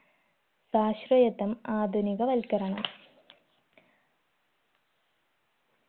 സാശ്രയത്വം ആധുനികവത്കരണം